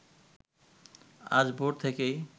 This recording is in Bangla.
আজ ভোর থেকেই